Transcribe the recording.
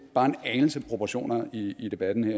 bare en anelse proportioner i i debatten her